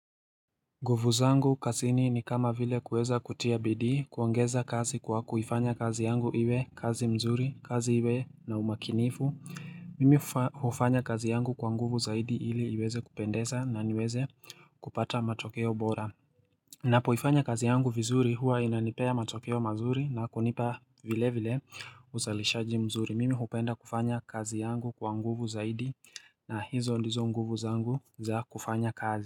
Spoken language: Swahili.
Nguvu zangu kazini ni kama vile kuweza kutia bidii kuongeza kazi kwa kuifanya kazi yangu iwe kazi mzuri kazi iwe na umakinifu Mimi hufanya kazi yangu kwa nguvu zaidi ili iweze kupendeza na niweze kupata matokeo bora Napoifanya kazi yangu vizuri huwa inanipea matokeo mazuri na kunipa vile vile uzalishaji mzuri mimi hupenda kufanya kazi yangu kwa nguvu zaidi na hizo ndizo nguvu zangu za kufanya kazi.